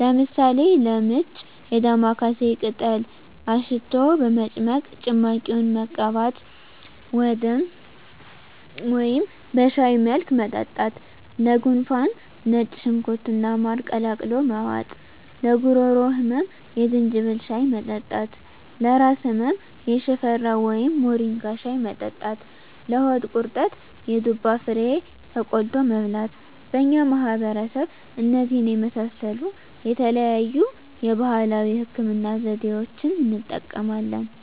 ለምሳሌ፦ -ለምች የዳማካሴ ቅጠል አሽቶ በመጭመቅ ጭማቂውን መቀባት ወደም በሻይ መልክ መጠጣት -ለጉንፋን ነጭ ሽንኩርት እና ማር ቀላቅሎ መዋጥ -ለጉሮሮ ህመም የዝንጅብል ሻይ መጠጣት -ለራስ ህመም የሽፈራው ወይም ሞሪንጋ ሻይ መጠጣት -ለሆድ ድርቀት የዱባ ፍሬ ተቆልቶ መብላት በእኛ ማህበረሰብ እነዚህን የመሳሰሉ የተለያዩ የባህላዊ ህክምና ዘዴዋችን እንጠቀማለን።